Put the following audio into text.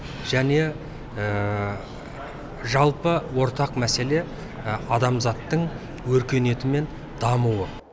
және жалпы ортақ мәселе адамзаттың өркениеті мен дамуы